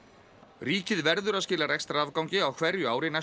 ríkið verður að skila rekstrarafgangi á hverju ári næstu